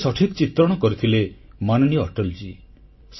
କେତେ ସଠିକ୍ ଚିତ୍ରଣ କରିଥିଲେ ମାନନୀୟ ଅଟଳଜୀ